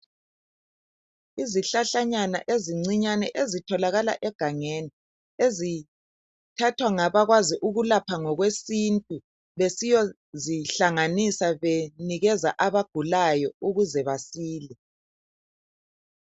Izihlahlanyana ezincinyane ezitholakala egangeni ezithathwa ngabakwazi ukulapha ngokwesintu besiyozihlanganisa benikeza abagulayo ukuze basile.